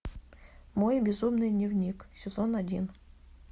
мой безумный дневник сезон один